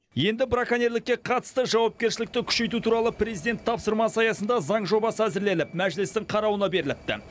енді браконьерлікке қатысты жауапкершілікті күшейту туралы президент тапсырмасы аясында заң жобасы әзірленіп мәжілістің қарауына беріліпті